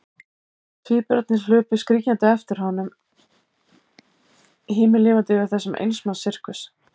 Tvíburarnir hlupu skríkjandi á eftir honum, himinlifandi yfir þessum eins manns sirkus.